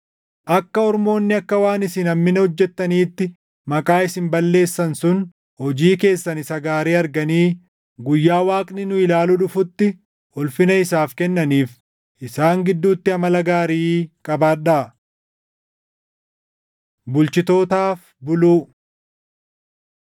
Akka ormoonni akka waan isin hammina hojjetaniitti maqaa isin balleessan sun, hojii keessan isa gaarii arganii guyyaa Waaqni nu ilaaluu dhufutti ulfina isaaf kennaniif isaan gidduutti amala gaarii qabaadhaa. Bulchitootaaf Buluu